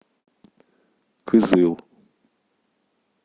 кызыл